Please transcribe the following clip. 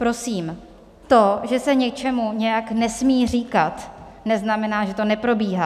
Prosím, to, že se něčemu nějak nesmí říkat, neznamená, že to neprobíhá.